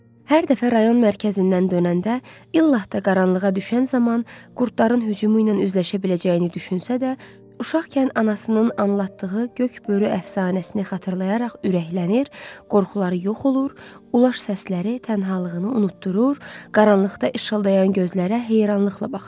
Hər dəfə rayon mərkəzindən dönəndə illah da qaranlığa düşən zaman qurdların hücumu ilə üzləşə biləcəyini düşünsə də, uşaqkən anasının anlattığı göy börü əfsanəsini xatırlayaraq ürəklənir, qorxuları yox olur, uluş səsləri tənhalığını unutdurur, qaranlıqda işıldayan gözlərə heyranlıqla baxırdı.